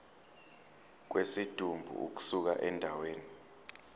kwesidumbu ukusuka endaweni